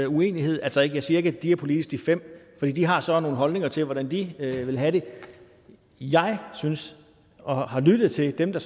uenighed altså jeg siger ikke at de er politiske for de har så nogle holdninger til hvordan de vil have det jeg synes og har lyttet til dem der